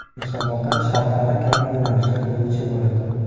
Musobaqa shartlari kabi yo‘nalishlar bo‘yicha bo‘ladi.